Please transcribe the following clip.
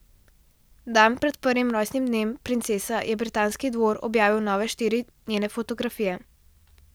Dan pred prvim rojstnim dnem princese je britanski dvor objavil nove štiri njene fotografije.